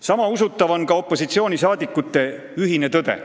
" Sama usutav on ka opositsioonisaadikute ühine tõde.